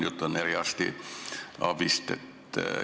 Jutt on eriarstiabist.